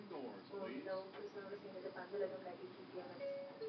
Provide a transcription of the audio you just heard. ஓ இல்லை உன் புருஷனோட சேர்ந்துட்டு பந்தல் ஏதும் கட்டிட்டு இருக்கியோன்னு நினைச்சுட்டேன்